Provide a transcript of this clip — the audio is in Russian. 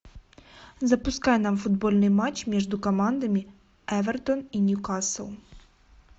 запускай нам футбольный матч между командами эвертон и ньюкасл